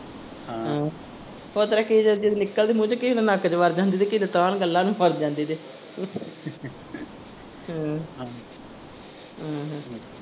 ਹਾਂ ਓਤਰਾਂ ਨਿਕਲਦੀ ਮੂੰਹ ਚੋ ਕਿਸੇ ਵੇਲੇ ਨੱਕ ਚ ਵੜ ਜਾਂਦੀ ਤੇ ਕਿਸੇ ਵੇਲੇ ਤਾਹ ਨੂੰ ਗੱਲਾਂ ਨੂੰ ਫੱਸ ਜਾਂਦੀ ਇਹਦੇ ਹਮ ਹਮ ਹਮ